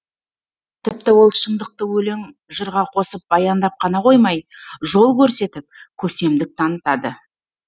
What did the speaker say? тіпті ол шындықты өлең жырға қосып баяндап қана қоймай жол көрсетіп көсемдік танытады